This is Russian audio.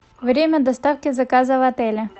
время доставки заказа в отеле